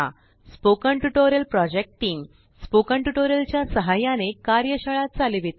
spoken tutorial project team spoken tutorial च्या साहाय्याने कार्यशाळा चालविते